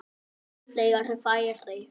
Fleiri færi?